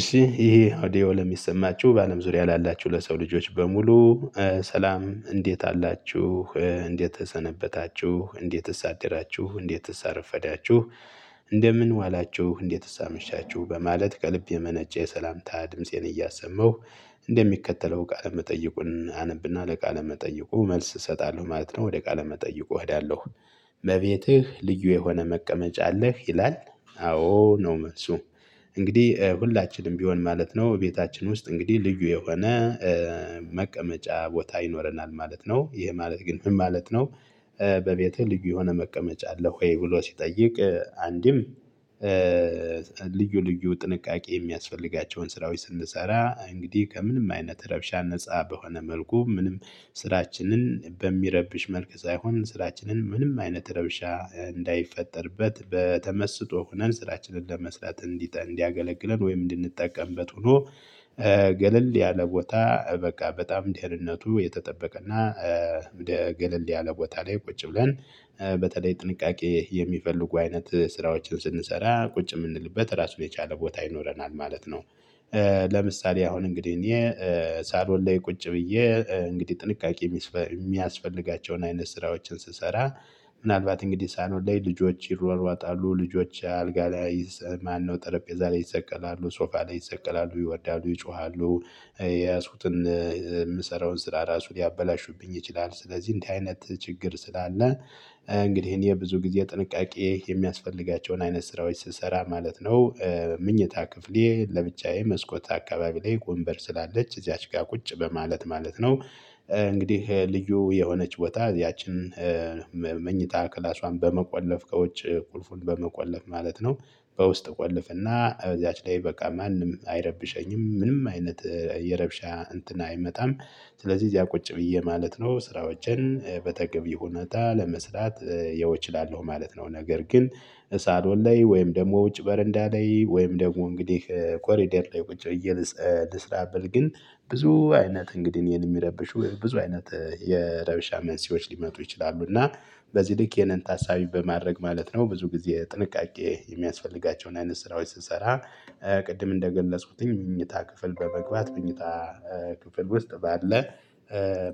እሺ ይሄ ኦዲዮ ለሚሰማችሁ በአለም ዙሪያ ላላችሁ ለሰው ልጆች በሙሉ። ሰላም እንዴት አላችሁ እንዴት ተሰነበታችሁ እንዴትስ አደራችሁ እንዴትስ አረፈዳችሁ። እንደምን ዋላችሁ እንዴትስ አመሻችሁ በማለት ከልብ የመነጨ የሰላምታ ድምፄን እያሰመሁ እንደሚከተለው ቃለመጠይቁን አነብና ለቃለ መጠይቁ መልስ እሰጣለሁ ማለት ነው። ወደ ቃለ መጠይቁ እሄዳለሁ። በቤትህ ልዩ የሆነ መቀመጫ አለህ ይላል? አዎ ነው መልሱ። እንግዲህ ሁላችንም ቢሆን ማለት ነው ቤታችን ውስጥ እንግዲህ ልዩ የሆነ መቀመጫ ቦታ ይኖረናል ማለት ነው። ይሄ ማለት ግን ምን ማለት ነው? በቤትህ ልዩ የሆነ መቀመጫ አለህ ወይ? ብሎ ሲጠይቅ አንድም ልዩ ልዩ ጥንቃቄ የሚያስፈልጋቸውን ስራዎች ስንሰራ እንግዲህ ከምንም አይነት ረብሻ ነፃ በሆነ መልኩ ምንም ስራችንን በሚረብሽ መልክ ሳይሆን ስራችንን ምንም አይነት ረብሻ እንዳይፈጠርበት በተመስጦ ሆነን ስራችንን ለመስራት እንዲጠን እንዲያገለግለን ወይም እንድንጠቀምበት ሆኖ። ገለል ያለ ቦታ በቃ በጣም ደህንነቱ የተጠበቀና ገለል ያለ ቦታ ላይ ቁጭ ብለን በተለይ ጥንቃቄ የሚፈልጉ አይነት ስራዎችን ስንሰራ ቁጭ የምንልበት ራሱ የቻለ ቦታ ይኖረናል ማለት ነው። ለምሳሌ አሁን እንግዲህ እኔ ሳሎን ላይ ቁጭ ብዬ እንግዲህ ጥንቃቄ ሚስፈ የሚያስፈልጋቸውን አይነት ስራዎችን ስሰራ። ምናልባት እንግዲህ ሳሎን ላይ ልጆች ይሯሯጣሉ ልጆች አልጋ ላይ ማነው ጠረጴዛ ላይ ይሰቀላሉ ሶፋ ላይ ይሰቀላሉ ይወርዳሉ ይጮሃሉ የያዝኩትን የምሰራውን ስራ ራሱ ሊያበላሹብኝ ይችላል። ስለዚህ እንዲህ አይነት ችግር ስላለ። እንግዲህ እኔ ብዙ ጊዜ ጥንቃቄ የሚያስፈልጋቸውን አይነት ስራዎች ስሰራ ማለት ነው። ምኝታ ክፍሌ ለብቻዬ መስኮት አካባቢ ላይ ወንበር ስላለች እዚያች ጋር ቁጭ በማለት ማለት ነው። እንግዲህ ልዩ የሆነች ቦታ ያቺን መኝታ ክላሷን በመቆለፍ ከውጭ ቁልፉን በመቆለፍ ማለት ነው። በውስጥ ቆልፍና እዛች ላይ በቃ ማንም አይረብሸኝም ምንም አይነት የረብሻ እንትን አይመጣም። ስለዚህ እዚያ ቁጭ ብዬ ማለት ነው ስራዎችን በተገቢ ሁነታ ለመስራት ይኸው እችላለሁ ማለት ነው። ነገር ግን ሳሎን ላይ ወይም ደግሞ ውጭ በረንዳ ላይ ወይም ደግሞ እንግዲህ ኮሪደር ላይ ቁጭ ብዬ ልስ ልስራበት ግን ብዙ አይነት እንግዲህ የሚረብሹ ብዙ አይነት የረበሻ መንስኤዎች ሊመጡ ይችላሉ። እና በዚህ ልክ ይህንን ታሳቢ በማድረግ ማለት ነው ብዙ ጊዜ ጥንቃቄ የሚያስፈልጋቸውን አይነት ስራዎች ስሰራ። ቅድም እንደገለጽኩትኝ ምኝታ ክፍል በመግባት ምኝታ ክፍል ውስጥ ባለ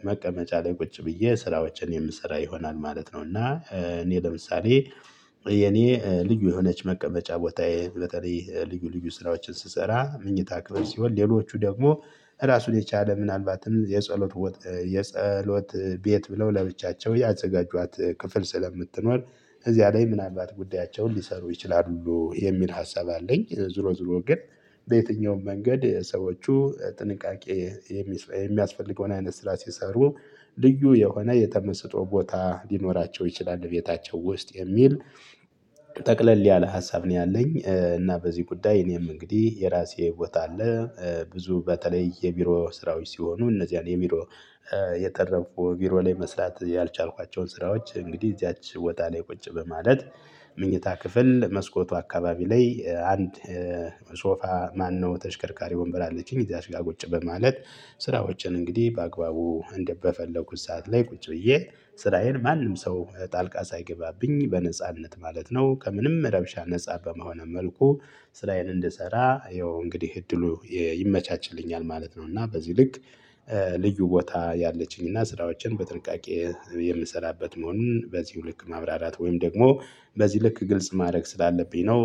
መቀመጫ ላይ ቁጭ ብዬ ስራዎችን የምሰራ ይሆናል ማለት ነው። እና እኔ ለምሳሌ የኔ ልዩ የሆነች መቀመጫ ቦታዬ በተለይ ልዩ ልዩ ስራዎችን ስሰራ ምኝታ ክፍል ሲሆን ሌሎቹ ደግሞ ራሱን የቻለ ምናልባትም የጸሎት ወት የጸሎት ቤት ብለው ለብቻቸው ያዘጋጇት ክፍል ስለምትኖር እዚያ ላይ ምናልባት ጉዳያቸውን ሊሰሩ ይችላሉ የሚል ሀሳብ አለኝ። ዙሮ ዙሮ ግን በየትኛውም መንገድ ሰዎች ጥንቃቄ የሚያስፈልገውን አይነት ስራ ሲሰሩ ልዩ የሆነ የተመሰጦ ቦታ ሊኖራቸው ይችላል ቤታቸው ውስጥ የሚል ጠቅለል ያለ ሀሳብ ነው። ያለኝ እና በዚህ ጉዳይ እኔም እንግዲህ የራሴ ቦታ አለ ብዙ በተለይ የቢሮ ስራዎች ሲሆኑ እነዚያን የቢሮ የተረፉ ቢሮ ላይ መስራት ያልቻልኳቸውን ስራዎች እንግዲህ እዚያች ቦታ ላይ ቁጭ በማለት። ምኝታ ክፍል መስኮቱ አካባቢ ላይ አንድ ሶፋ ማነው ተሽከርካሪ ወንበር አለችኝ እዚያሽ ጋር ቁጭ በማለት። ስራዎችን እንግዲህ በአግባቡ እንደበፈለኩት ሰዓት ላይ ቁጭ ብዬ ስራዬን ማንም ሰው ጣልቃ ሳይገባብኝ በነጻነት ማለት ነው ከምንም ረብሻ ነፃ በመሆነ መልኩ ስራዬን እንድሰራ ይኸው እንግዲህ እድሉ ይ ይመቻችልኛል ማለት ነው። እና በዚህ ልክ ልዩ ቦታ ያለችኝና ስራዎችን በጥንቃቄ የምሰራበት መሆኑን በዚሁ ልክ ማብራራት ወይም ደግሞ በዚህ ልክ ግልጽ ማድረግ ስላለብኝ ነው።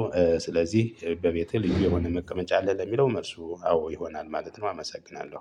ስለዚህ በቤቴ ልዩ የሆነ መቀመጫ አለ ለሚለው መልሱ አዎ ይሆናል ማለት ነው። አመሰግናለሁ።